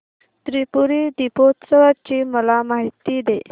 त्रिपुरी दीपोत्सवाची मला माहिती दे